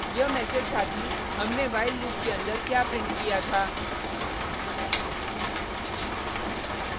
यह मैसेज था कि हमने while लूप के अंदर क्या प्रिंट किया था